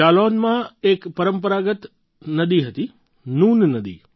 જાલૌનમાં એક પરંપરાગત નદી હતી નૂન નદી